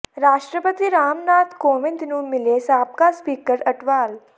ਰਾਸ਼ਟਰਪਤੀ ਰਾਮ ਨਾਥ ਕੋਵਿੰਦ ਨੂੰ ਮਿਲੇ ਸਾਬਕਾ ਸਪੀਕਰ ਅਟਵਾਲ